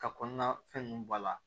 Ka kɔnɔna fɛn ninnu bɔ a la